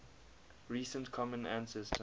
recent common ancestor